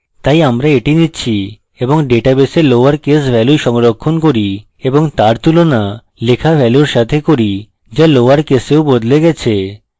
তাই আমরা এটি নিচ্ছি এবং ডাটাবেসে lower case value সংরক্ষণ করি এবং তার তুলনা লেখা ভ্যালুর সাথে করি so lower কেসেও বদলে গেছে